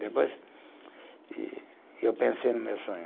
Depois e eu pensei no meu sonho.